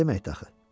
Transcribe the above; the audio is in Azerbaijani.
Bu nə deməkdir axı?